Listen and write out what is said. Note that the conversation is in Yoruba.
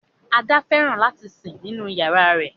Ada fẹràn lati sin ninu yárà rẹ.